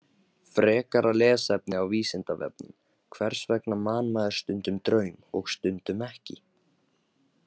Frekara lesefni á Vísindavefnum: Hvers vegna man maður stundum draum og stundum ekki?